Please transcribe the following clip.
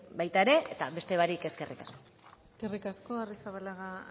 baita ere ete beste barik eskerrik asko eskerrik asko arrizabalaga